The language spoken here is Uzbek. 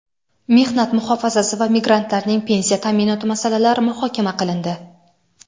mehnat muhofazasi va migrantlarning pensiya ta’minoti masalalari muhokama qilindi.